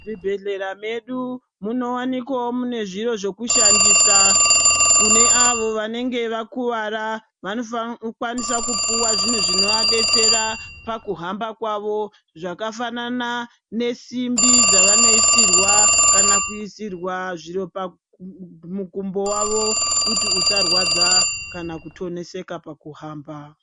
Zvibhehlera medu munowanikwawo mune zviro zvekushandisa kune avo vanenge vakuwara vanokwanisa kupuwa zvinhu zvinovadetsera pakuhamba kwavo zvakafanana nesimbi dzavanoisirwa kana kuisirwa zviro pamukumbo wavo kuti usarwadza kana kutoneseka pakuhamba.